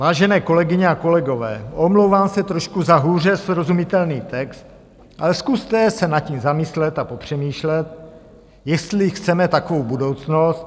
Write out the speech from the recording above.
Vážené kolegyně a kolegové, omlouvám se za trošku hůře srozumitelný text, ale zkuste se nad tím zamyslet a popřemýšlet, jestli chceme takovou budoucnost.